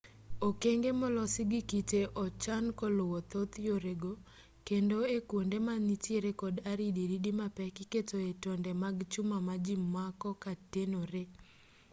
okenge molosi gi kite ochan koluwo thoth yore go kendo e kwonde manitiere kod aridiridi mapek iketoe tonde mag chuma ma ji mako ka tenoree